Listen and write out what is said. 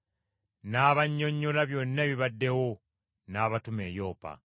n’abannyonnyola byonna ebibaddewo, n’abatuma e Yopa.